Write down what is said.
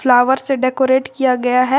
Flower से decorate किया गया है।